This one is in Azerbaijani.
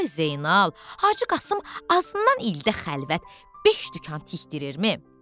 Ay Zeynal, Hacı Qasım azından ildə xəlvət beş dükan tikdirirmi?